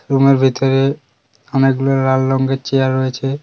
রুমের ভেতরে অনেকগুলো লাল রঙ্গের চেয়ার রয়েছে।